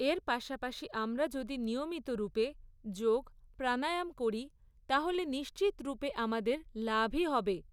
এর পাশাপাশি আমরা যদি নিয়মিত রূপে যোগ, প্রাণায়াম করি, তাহলে নিশ্চিতরূপে আমাদের লাভই হবে।